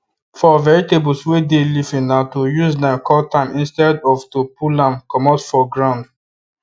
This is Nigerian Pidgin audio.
for vegetables wey dey leafy na to use knife cut am instead of to pull am comot for ground